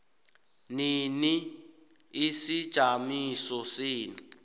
nini isijamiso senu